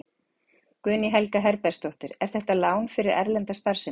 Guðný Helga Herbertsdóttir: Er þetta lán fyrir erlenda starfsemi?